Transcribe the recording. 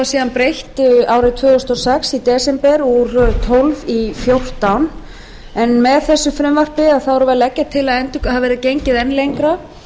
síðan breytt árið tvö þúsund og sex í desember úr tólf prósent í fjórtán prósent en með þessu frumvarpi erum við að leggja til að það verði gengið enn lengra